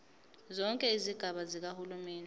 zonke izigaba zikahulumeni